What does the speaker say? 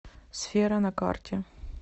сфера на карте